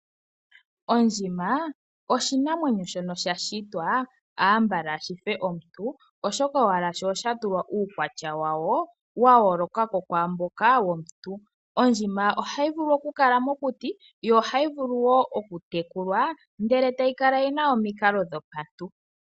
Ondjima oshinamwenyo shono shashitwa ambala shife omuntu, oshoka owala sho shatulwa uukwatya wawo, wa yooloka ko kwaamboka womuntu. Ondjima ohayi vulu okukala mokuti, yo ohayi vulu wo okutekulwa, ndele tayi kala yina omikalo dhopaantu.